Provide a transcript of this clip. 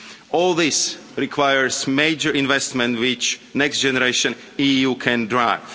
All this requires major investment which Next Generation EU can drive.